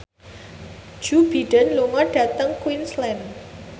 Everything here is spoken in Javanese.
Joe Biden lunga dhateng Queensland